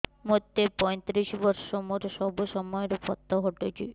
ମୋତେ ପଇଂତିରିଶ ବର୍ଷ ମୋର ସବୁ ସମୟରେ ପତ ଘଟୁଛି